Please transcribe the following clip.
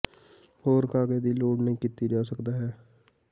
ਹੋਰ ਕਾਗਜ਼ ਦੀ ਲੋੜ ਨਹੀ ਕੀਤਾ ਜਾ ਸਕਦਾ ਹੈ